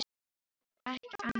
Það var þá ekki annað en þetta!